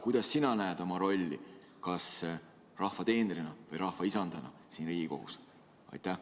Kuidas sina näed oma rolli, kas rahva teenrina või rahva isandana siin Riigikogus?